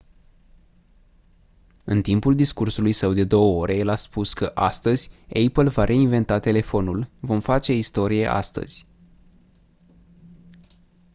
în timpul discursului său de 2 ore el a spus că «astăzi apple va reinventa telefonul vom face istorie astăzi».